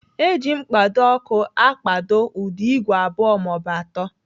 Eji mkpado ọkụ akpado ụdọ igwe abụọ maọbụ atọ.